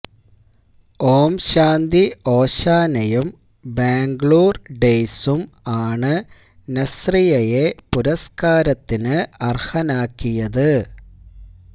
ഓം ശാന്തി ഓശാനയും ബാംഗ്ലൂർ ഡേയ്സും ആണ് നസ്റിയയെ പുരസ്കാരത്തിന് അർഹനാക്കിയത്